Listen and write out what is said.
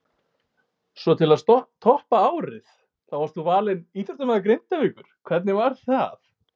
Svo til að toppa árið þá varst þú valinn íþróttamaður Grindavíkur, hvernig var það?